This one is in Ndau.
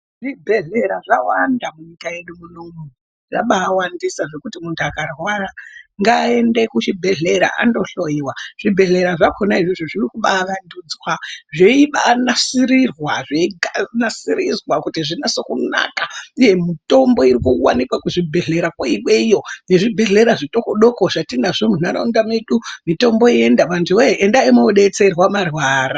Zvibhedhlera zvawanda munyika yedu munomu. Zvabaawandisa zvekuti muntu akarwara ngaaende kuchibhedhlera andohloiwa. Zvibhedhera zvakhona izvozvo zvirikubaawandutswa zveibaanasirirwa zveinasirizwa kuti zvinase kunaka uye mitombo irikuwandikwa kuzvibhedherakwo iweyo nezvibhedhlera zvitokodoko zvatinazvo munharaunda medu nemitombo yenda antuwee endai mwoodetserwa marwara.